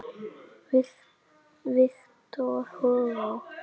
Victor Hugo